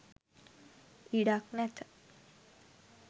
ඉඩක් නැත